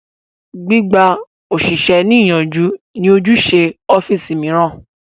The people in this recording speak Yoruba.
Gbí gba òṣìṣẹ́ ní ìyànjú ní ojúṣe ọ́físì mìíràn